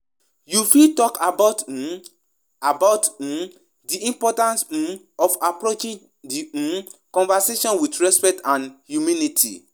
Wetin you think about di role of religious leaders in giving advice and spiritual mentorship?